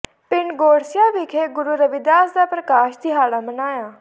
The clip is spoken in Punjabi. ਪਿੰਡ ਗੋਰਸੀਆਂ ਵਿਖੇ ਗੁਰੂ ਰਵਿਦਾਸ ਦਾ ਪ੍ਰਕਾਸ਼ ਦਿਹਾੜਾ ਮਨਾਇਆ